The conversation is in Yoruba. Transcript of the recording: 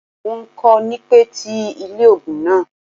Wọn kò ní pẹ́ ti ilé ògùn náà